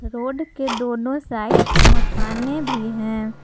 Road के दोनों side मकाने भी हैं।